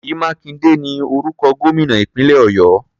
Ṣèyí Mákindé ni orúkọ gómìnà ìpínlẹ̀ Ọ̀yọ́.